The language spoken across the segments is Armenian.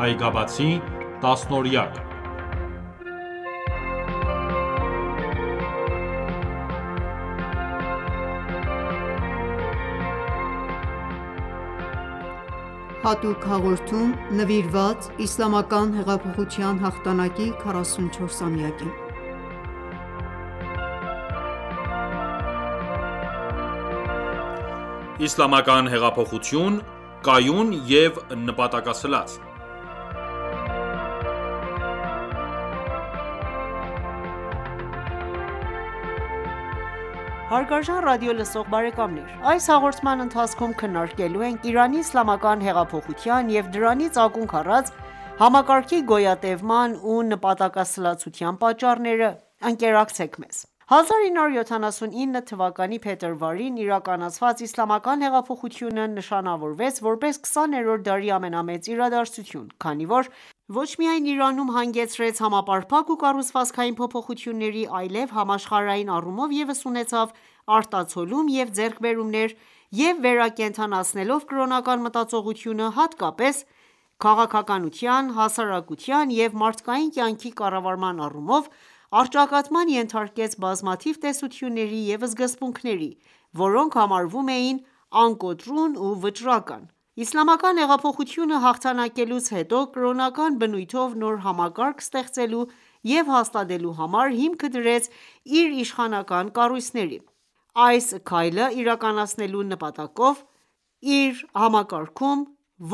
Այգաբացի տասնօրյակ (5.Հատուկ հաղորդում՝ նվիրված Իսլամական Հեղափոխության հաղթանակի 44-ամյակին) Իսլամական հեղափոխություն՝ կայուն և նպատակասլաց: Հարգարժան ռադիոլսող բարեկամներ այս հաղորդման ընթացքում քննարկելու ենք Իրանի Իսլամական հեղափոխության և դրանից ակունք առած համակարգի գոյատևման ու նպատակասլացության պատճառները: Ընկերակցեք մեզ: 1979 թվականի փետրվարին իրականացված Իսլամական հեղափոխությունը ,նշանավորվեց ,որպես 20-րդ դարի ամենամեծ իրադարձություն, քանի որ ոչ միայն Իրանում հանգեցրեց համապարփակ ու կառուցվածքային փոփոխությունների, այլև համաշխարհային առումով ևս ունեցավ արտացոլում և ձեռքբերումներ եւ վերակենդանացնելով կրոնական մտածողությունը, հատկապես քաղաքականության, հասարակության և մարդկային կյանքի կառավարման առումով, առճակատման ենթարկեց բազմաթիվ տեսությունների և սկզբունքների, որոնք համարվում էին անկոտրուն ու վճռական: Իսլամական հեղափոխությունը հաղթանակելուց հետո, կրոնական բնույթով նոր համակարգ ստեղծելու և հաստատելու համար հիմքը դրեց իր իշխանական կառույցների: Այս քայլը իրականացնելու նպատակով, իր համակարգում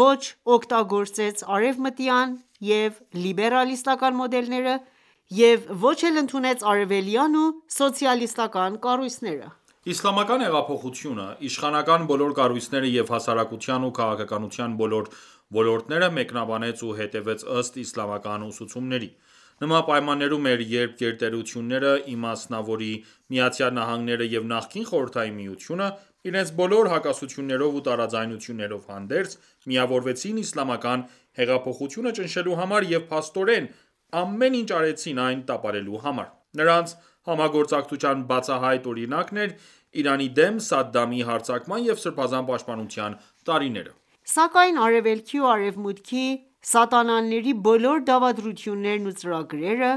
ոչ օգտագործեց արևմտյան և լիբերալիստական մոդելները և ոչ էլ ընդունեց արևելյան ու սոցիալիստական կառույցները։ Իսլամական հանրապետությունը, իշխանական բոլոր կառույցները և հասարակության ու քաղաքականության բոլոր ոլորտները, մեկնաբանեց ու հետևեց ըստ՝իսլամական ուսուցումների: Նման պայմաններում էր, երբ գերտերությունները, իմասնավորի՝ ԱՄՆ-ն և նախկին Խորհրդային միությունը ,իրենց բոլոր հակասություններով ու տարաձայնություններով հանդերձ, միավորվեցին իսլամական հեղափոխությունը ճնշելու համար և փաստորեն ամեն ինչ արեցին այն տապալելու համար: Նրանց համագործակցության բացահայտ օրինակն էր՝ Իրանի դեմ Սադդամի հարձակման և Սսրբազան պաշտպանության տարիները: Սակայն, արևելքի ու արևմուտքի սատանաների բոլոր դավադրություններն ու ծրագրերը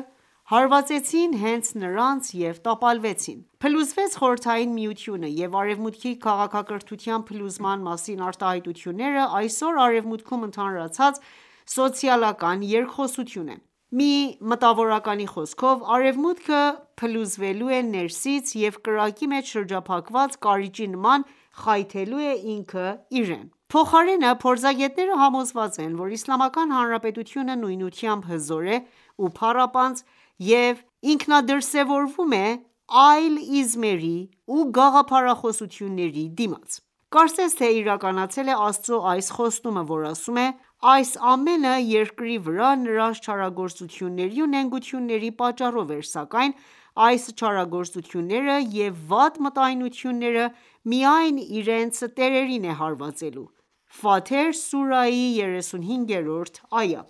հարվածեցին հենց նրանց և տապալվեցին: Փլուզվեց Խորհրդային միությունը և արևմուտքի քաղաքակրթության փլուզման մասին արտահայտությունները ,այսօր արևմուտքում ընդհանրացած սոցիալական երկխոսությունն է: Մի մտավորականի խոսքով.«Արևմուտքը փլուզվելու է ներսից և կրակի մեջ շրջափաված կարիճի նման ,խայթելու է ինքնը իրեն»: Փոխարենը ,փորձագետները համոզված են, որ Իսլամական Հնարապետությունը նույնությամբ հզոր է ու փառապանծ և ինքնադրսևորվում է այլ իզմերի ու գաղափարախոսությունների դիմաց: Կարծես թե՝իրականացել է Աստծու այս խոստումը ,որ ասում է.«Այս ամենը երկրի վրա նրանց չարագործությունների ու նենգությունների պատճառով էր ,սակայն այս չարագործությունները և վատ մտայնությունները միայն իրենց տերերին է հարվածելու»: (Ֆաթեր-35):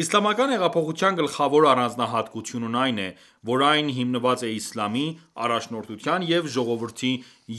Իսլամական հեղափոխության գլխավոր առանձնահատկությունն այն է, որ այն հիմնված է «իսլամի», «առաջնորդության» և «ժողովրդի»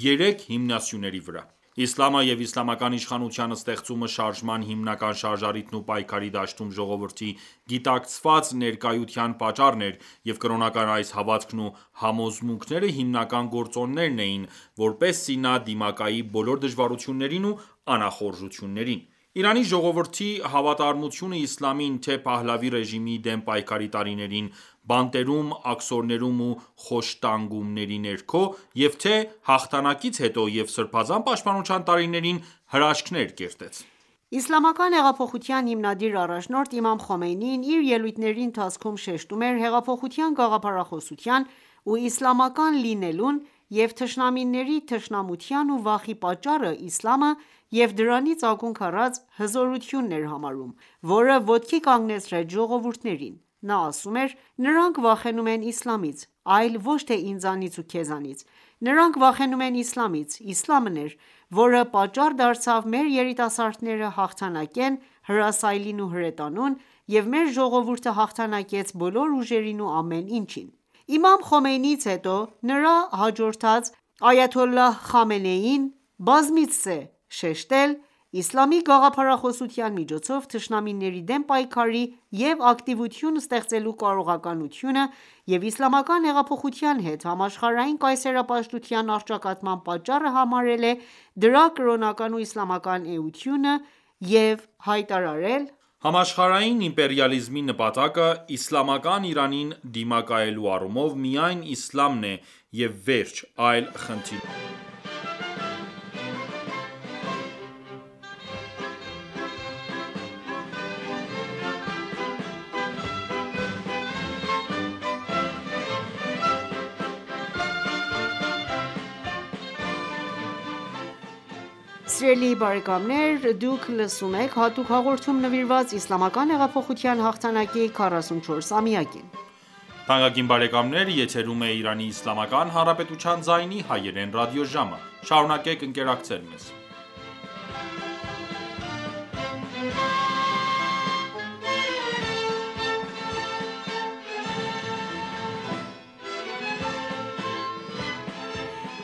երեք հիմնասյուների վրա։ «Իսլամը» և իսլամական իշխանության ստեղծումը շարժման հիմնական շարժառիթն ու պայքարի դաշտում ժողովրդի գիտակցված ներկայության պատճառն էր և կրոնական այս հավատքն ու համոզմունքները հիմնական գործոններն էին ,որպեսզի նա դիմակայի բոլոր դժվարություններին ու անախոժություններին: Իրանի ժողովրդի հավատարմությունը Իսլամին ,թե՝ Փահլավի ռեժիմի դեմ պայքարի տարիներին՝ բանտերում, աքսորներում ու խոշտանգումների ներքո և թե՝ հաղթանակից հետո և Սրբազան պաշտպանության տարիներին հրաշքներ կերտեց: Իսլամական հեղափոխության հիմնադիր առաջնորդ Իմամ Խոմեյնին իր ելույթների ընթացքում շեշտում էր՝ հեղափոխության գաղափարախոսության ու իսլամական լինելուն և թշնամիների թշնամության ու վախի պատճառը ՝Իսլամը և դրանից ակունք առած հզորությունն էր համարում ,որը ոտքի կանգնեցրեց ժողովուրդներին: Նա ասում էր.«Նրանք վախենում են իսլամից ,այլ ոչ թե՝ ինձանից ու քեզանից:Նրանք վախենում են իսլամից ,Իսլամն էր որը պատճառ դարձավ մեր երիտասարդները հաղթանակեն հրասայլին ու հրետանուն և մեր ժողովուրդը հաղթանակեց բոլոր ուժերին ու ամեն ինչին»: Իմամ Խոմեյնիից հետո ,նրան հաջորդած Այաթոլլահ Խամենեին բազմիցս է շեշտել Իսլամի գաղափարախոսության միջոցով թշնամիների դեմ պայքարի և ակտիվություն ստեղծելու կարողականությունը և Իսլամական հեղափոխության հետ համաշխարհային կայսերապաշտության առճակատման պատճառը համարել է դրա կրոնական ու իսլամական էությունը և հայտարարել.«Համաշխարհային իմպերիալիզմի նպատակը՝իսլամական Իրանին դիմակայելու առումով, միայն իսլամն է և վերջ, այլ խնդիրներ չկան»: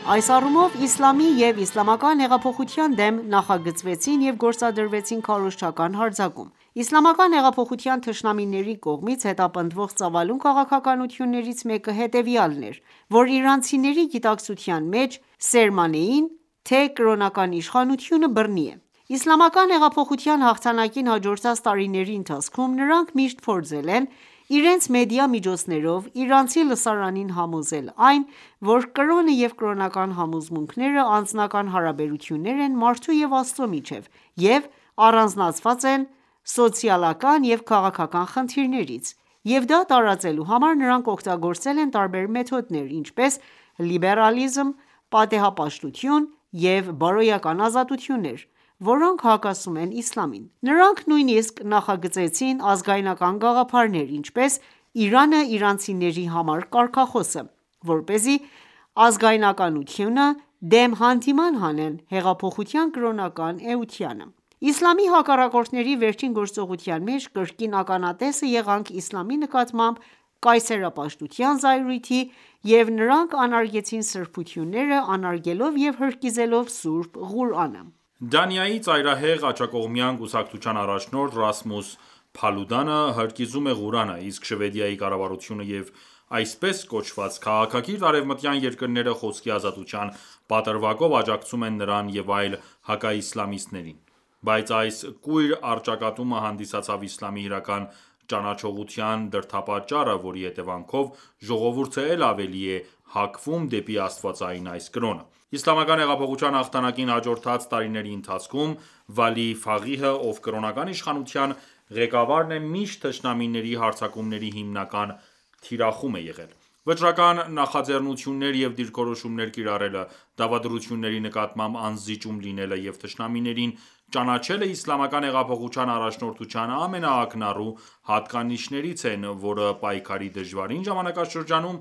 Այս առումով ,Իսլամի և իսլամական հեղափոխության դեմ նախագծվեցին և գործադրվեցին քարոզչական հարձակում: Իսլամական հեղափոխության թշնամիների կողմից հետապնդվող ծավալուն քաղաքականություններից մեկը հետևյալն էր, որ իրանցիների գիտակցության մեջ սերմանեին թե՝ կրոնական իշխանությունը բռնի է: Իսլամական հեղափոխության հաղթանակին հաջորդած տարիների ընթացքում նրանք միշտ փորձել են իրենց մեդիա միջոցներով իրանցի լսարանին համոզել այն, որ կրոնը և կրոնական համոզմունքները անձնական հարաբերություններ են մարդու և Աստծո միջև և առանձնացված են սոցիալական և քաղաքական խնդիրներից և դա տարածելու համար նրանք օգտագործել են տարբեր մեթոդներ, ինչպես՝ լիբերալիզմ, պատեհապաշտություն և բարոյական ազատություններ, որոնք հակասում են Իսլամին: Նրանք նույնիսկ նախագծեցին ազգայնական գաղափարներ, ինչպես՝ «Իրանը իրանցիների համար» կարգախոսը, որպեսզի ազգայնականությունը դեմ հանդիման հանեն հեղափոխության կրոնական էությանը: Իսլամի հակառակորդների վերջին գործողության մեջ կրկին ականատեսը եղանք Իսլամի նկատմամբ կայսերապաշտության զայրույթի և նրանք անարգեցին սրբությունները՝ անարգելով և հրկիզելով Սուրբ Ղուրանը։ Դանիայի ծայրահեղ աջակողմյան կուսակցության առաջնորդ Ռասմուս Փալուդանը հրկիզում է Ղուրանը, իսկ Շվեդիայի կառավարությունը և այսպես կոչված, քաղաքակիրթ արևմտյան երկրները խոսքի ազատության պատրվակով աջակցում են նրան և այլ հակաիսլամիստներին։ Բայց այս կույր առճակատումը հանդիսացավ Իսլամի իրական ճանաչողության դրդապատճառը, որի հետևանքով ժողովուրդը էլ ավելի է հակվում դեպի Աստվածային այս կրոնը: Իսլամական հեղափոխության հաղթանակին հաջորդած տարիների ընթացքում, Վալի Ֆաղիհը ,ով կրոնական իշխանության ղեկավարն է ,միշտ թշնամիների հարձակումների հիմնական թիրախում է եղել: Վճռական նախաձեռնություններ և դիրքորոշումներ կիրառելը, դավադրությունների նկատմամբ անզիջում լինելը և թշնամիներին ճանաչելը, Իսլամական հեղափոխության առաջնորդության ամենաակնառու հատկանիշներից են, որը պայքարի դժվարին ժամանակաշրջանում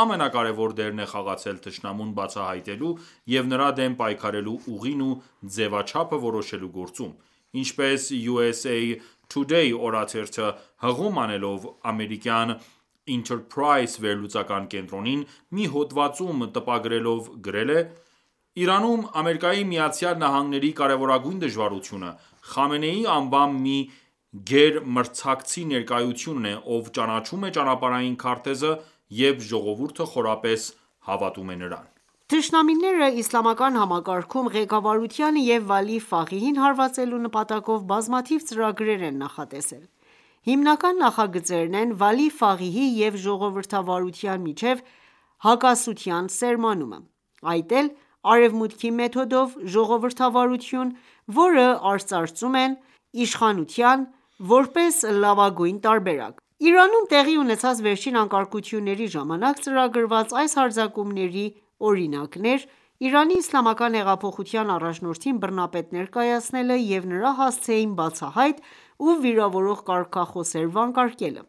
ամենակարևոր դերն է խաղացել թշնամուն բացահայտելու և նրա դեմ պայքարելու ուղին ու ձևաչափը որոշելու գործում:Ինչպես «Յու.Էս.Էյ Թուդեյ»օրաթերը հղում անելով ամերիկյան «Ինթըր փրայզ»վերլուծական կենտրոնին ,մի հոդված տպագրելով գրել է.«Իրանում, ԱՄՆ-ի կարևորագույն դժվարությունը՝Խամենեի անվամբ մի գերմրցակցի ներկայությունն է,ով ճանաչում է ճանապարհային քարտեզը և ժողովուրդը խորապես հավատում է նրան»: Թշնամիները ,Իսլամական համակարգում ղեկավարությանը և Վալի Ֆաղիհին հարվածելու նպատակով բազմաթիվ ծրագրեր են նախատեսել: Հիմնական նախագծերն են՝ Վալի Ֆաղիհի և ժողովրդավարության միջև հակասության սերմանումը: Այդ էլ արևմուտքի մեթոդով ժողովրդավարություն ,որը արծարծում են իշխանության ,որպես լավագույն տարբերակ: Իրանում տեղի ունեցած վերջին անկարգությունների ժամանակ ծրագրված այս հարձակումների օրինակն էր՝ Իրանի Իսլամական հեղափոխության առաջնորդին բռնապետ ներկայացնելը և նրա հասցեին բացահայտ ու վիրավորող կարգախոսեր վանկարկելը։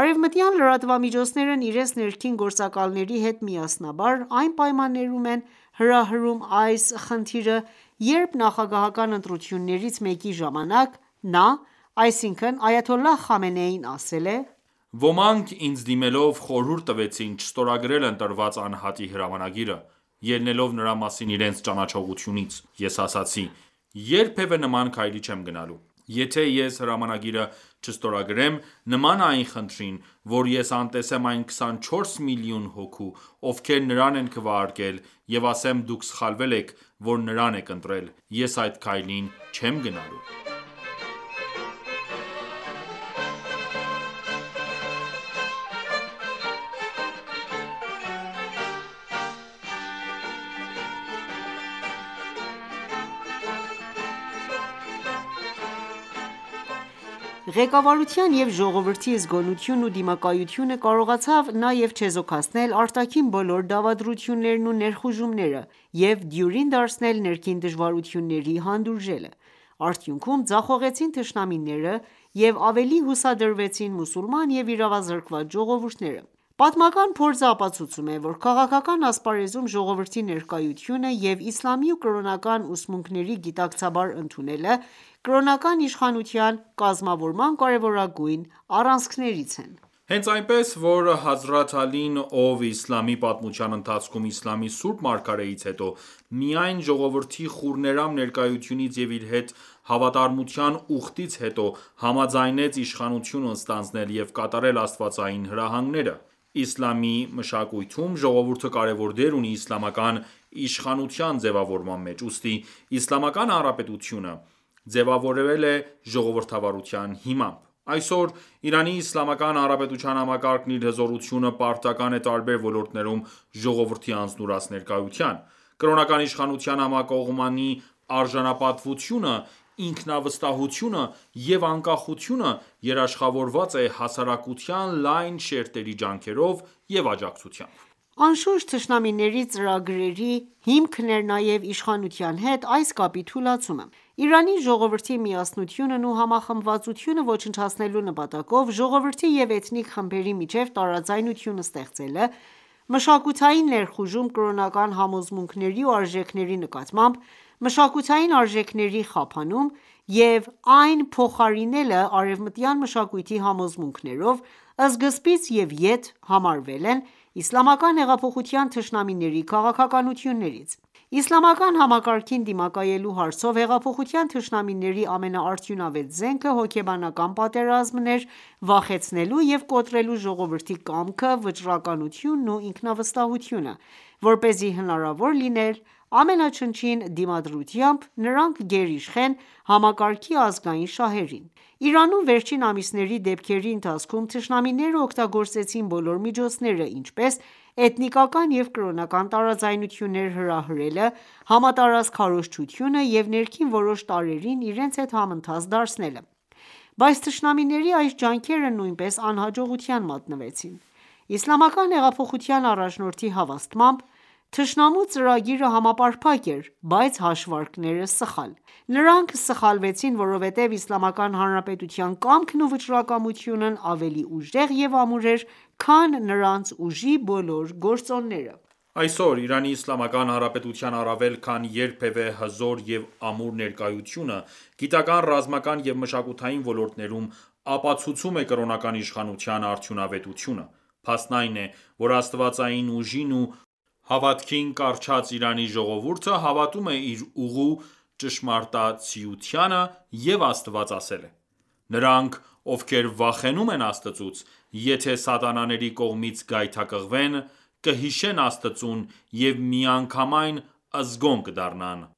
Արևմտյան լրատվամիջոցներն իրենց ներքին գործակալների հետ միասնաբար այն պայմաններում են հրահրում այս խնդիրը, երբ ՝նախագահական ընտրություններից մեկի ժամանակ, նա, այսինքն՝ Այաթոլլահ Խամենեին ասել է.«Ոմանք ինձ դիմելով խորհուրդ տվեցին չստորագրել ընտրված անհատի հրամանագիրը, ելնելով նրա մասին իրենց ճանաչողությունից: Ես ասացի երբևէ նման քայլի չեմ գնալու: Եթե ես հրամանագիրը չստորագրեմ ,նման է այն խնդրին, որ ես անտեսեմ այն 24 միլիոն հոգու ,ովքեր նրան են քվերակել և ասեմ դուք սխալվել եք ,որ նրան եք ընտրել: Ես այդ քայլին չեմ գնալու»: Ղեկավարության ու ժողովրդի զգոնությունն ու դիմակայությունը կարողացավ նաև չեզոքացնել արտաքին բոլոր դավադրություններն ու ներխուժումները և դյուրին դարձնել ներքին դժվարությունների հանդուրժելը: Արդյունքում՝ ձախողեցին թշնամիները և ավելի հուսադրվեցին մուսուլման ու իրավազրկված ժողովուրդները: Պատմական փորձը ապացուցում է,որ քաղաքական ասպարեզում ժողովրդի ներկայությունը և Իսլամի ու կրոնական ուսմունքների գիտակցաբար ընդունելը ,կրոնական իշխանության կազմավորման կարևորագույն առանցքներից են։ Հենց այնպես ,որ հազրաթ Ալին ,ով Իսլամի պատմության ընթացքում Իսլամի սուրբ մարգարեից հետո, միայն ժողովրդի խուռներամ ներկայությունից և իր հետ հավատարմության ուխտից հետո, համաձայնեց իշխանությունը ստանձնել և կատարել աստվածային հրահանգները: Իսլամի մշակույթում, ժողովուրդը կարևոր դեր ունի իսլամական իշխանության ձևավորման մեջ: Ուստի իսլամական հանրապետությունը ձևավորվել է ժողովրդավարության հիմամբ: Այսօր Իրանի Իսլամական Հանրապետության համակարգն իր հզորությունը պարտական է տարբեր ոլորտներում ժողովրդի անձնուրաց ներկայության: Կրոնական իշխանության համակողմանի արժանապատվությունը, ինքնավստահությունը և անկախությունը երաշխավորված է հասարակության լայն շերտերի ջանքերով և աջակցությամբ: Անշուշտ, թշնամիների ծրագրերի հիմքն էր նաև իշխանության հետ այս կապի թուլացումը։ Իրանի ժողովրդի միասնությունն ու համախմբվածությունը ոչնչացնելու նպատակով ժողովրդի և էթնիկ խմբերի միջև տարաձայնություն ստեղծելը, մշակութային ներխուժում՝կրոնական համոզմունքների և արժեքների նկատմամբ, մշակութային արժեքների խափանում և այն փոխարինելը արևմտյան մշակույթի համոզմունքներով ,սկզբից և եթ համարվել են իսլամական հեղափոխության թշնամիների քաղաքականություններից: Իսլամական համակարգին դիմակայելու հարցով հեղափոխության թշնամիների ամենաարդյունավետ զենքը՝ հոգեբանական պատերազմն էր՝ վախեցնելու և կոտրելու ժողովրդի կամքը, վճռականությունն ու ինքնավստահությունը, որպեսզի հնարավոր լիներ ամենաչնչին դիմադրությամբ նրանք գերիշխեն համակարգի ազգային շահերին: Իրանում վերջին ամիսների դեպքերի ընթացքում թշնամիները օգտագործեցին բոլոր միջոցները, ինչպես՝ էթնիկական և կրոնական տարաձայնություններ հրահրելը, համատարած քարոզչությունը և ներքին որոշ տարրերին իրենց հետ համընթաց դարձնելը: Բայց թշնամիների այս ջանքերը նույնպես անհաջողության մատնվեցին: Իսլամական հեղափոխության առաջնորդի հավաստմամբ.-«Թշնամու ծրագիրը համապարփակ էր, բայց հաշվարկները՝ սխալ...»։ «Նրանք սխալվեցին, որովհետև Իսլամական Հանրապետության կամքն ու վճռականությունն ավելի ուժեղ և ամուր էր, քան նրանց ուժի բոլոր գործոնները»։ Այսօր, Իրանի Իսլամական Հանրապետության առավել քան երբևէ հզոր և ամուր ներկայությունը՝ գիտական, ռազմական և մշակութային ոլորտներում, ապացուցում է կրոնական իշխանության արդյունավետությունը:Փաստն այն է,որ աստվածային ուժին ու հավատքին կառչած Իրանի ժողովուրդը հավատում է իր ուղու ճշմարտացիությանը և Աստված ասել է.«Նրանք ովքեր վախենում են Աստծուց, եթե սատանաների կողմից գայթակղվեն ,կհիշեն Աստծուն և միանգամայն զգոն կդառնան»: